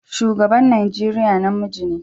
Shugaban Najeriya namiji ne.